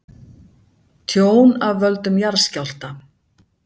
Tjón af völdum jarðskjálfta